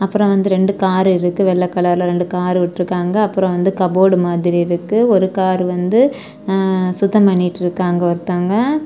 அப்புறம் வந்து ரெண்டு காரு இருக்கு வெள்ளை கலர்ல ரெண்டு காரு விட்றுக்காங்க அப்புறம் வந்து கப்போர்ட் மாதிரி இருக்கு ஒரு காரு வந்து ஆ சுத்தம் பண்ணிட்டு இருக்காங்க ஒருத்தவங்க.